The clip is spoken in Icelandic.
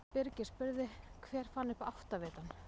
Birgir spurði: Hver fann upp áttavitann?